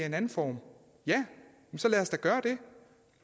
en anden form ja men så lad os da gøre det